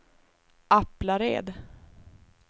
Aplared